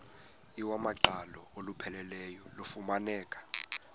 iwamaqhalo olupheleleyo lufumaneka